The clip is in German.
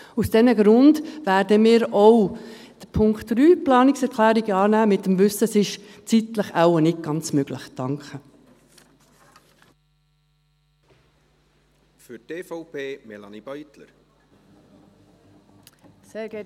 Aus diesen Gründen werden wir auch die Planungserklärung 3 annehmen, im Wissen darum, dass es zeitlich wahrscheinlich nicht ganz möglich ist.